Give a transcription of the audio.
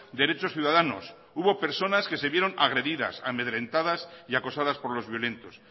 derechos ciudadanos hubo personas que se vieron agredidas amedrentadas y acosadas por los violentos